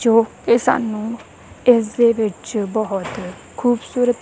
ਜੋ ਕੇ ਸਾਨੂੰ ਇੱਸ ਵਿੱਚ ਬੋਹੁਤ ਖੂਬਸੂਰਤ--